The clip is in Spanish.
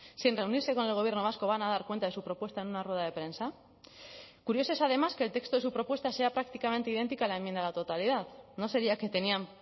sin reunirse con el gobierno vasco van a dar cuenta de su propuesta en una rueda de prensa curioso es además que el texto de su propuesta sea prácticamente idéntica a la enmienda a la totalidad no sería que tenían